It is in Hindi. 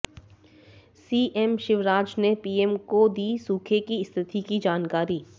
सीएम शिवराज ने पीएम को दी सूखे की स्थिति की जानकारी